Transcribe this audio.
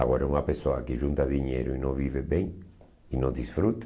Agora, uma pessoa que junta dinheiro e não vive bem, e não desfruta.